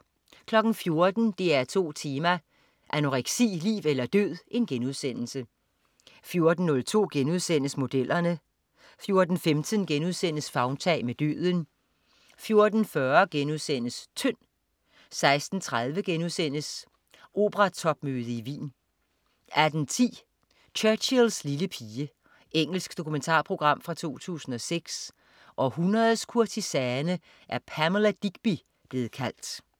14.00 DR2 Tema: Anoreksi, liv eller død* 14.02 Modellerne* 14.15 Favntag med døden* 14.40 Tynd* 16.30 Operatopmøde i Wien* 18.10 Churchills lille pige. Engelsk dokumentarprogram fra 2006. Århundredets kurtisane er Pamela Digby blevet kaldt